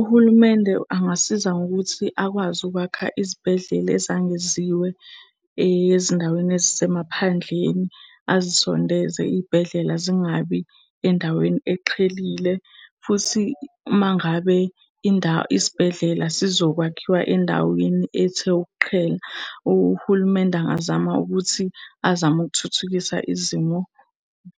Uhulumende angasiza ngokuthi akwazi ukwakha izibhedlela ezangeziwe ezindaweni ezisemaphandleni, azisondeze iy'bhedlela zingabi endaweni eqhelile. Futhi uma ngabe isibhedlela zizokwakhiwa endaweni ethe ukuqhela, uhulumende angazama ukuthi azame ukuthuthukisa izimo,